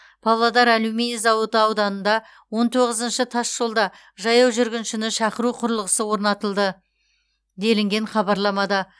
павлодар алюминий зауыты ауданында он тоғызыншы тасжолда жаяу жүргіншіні шақыру құрылғысы орнатылды делінген хабарламада